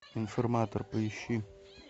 информатор поищи